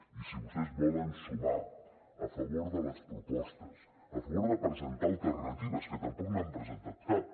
i si vostès volen sumar a favor de les propostes a favor de presentar alternatives que tampoc n’han presentat cap